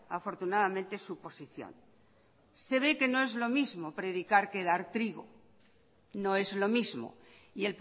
afortunadamente su posición se ve que no es lo mismo predicar que dar trigo no es lo mismo y